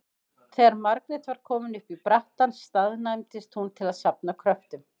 Þegar Margrét var komin upp í brattann staðnæmdist hún til að safna kröftum.